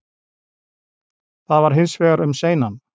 Það var hins vegar um seinan